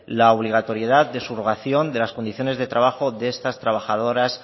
la obligatoriedad de subrogación de las condiciones de trabajo de estas trabajadoras